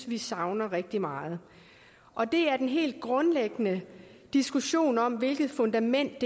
vi savner rigtig meget og det er den helt grundlæggende diskussion om hvilket fundament